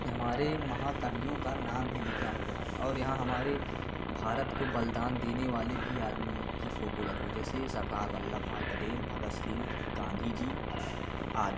हमारे महाकवियों का नाम भी लिखा हुआ है और यहां हमारे भारत को बलिदान देने वाले भी आदमी की फोटो लगी हुई है जैसे सरदार वल्लभभाई पटेल भगत सिंह गांधी जी आदि।